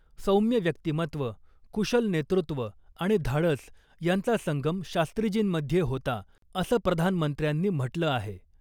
सौम्य व्यक्तीमत्व , कुशल नेतृत्व आणि धाडस यांचा संगम शास्त्रीजींमध्ये होता , असं प्रधानमंत्र्यांनी म्हटलं आहे .